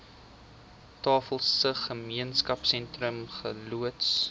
tafelsig gemeenskapsentrum geloods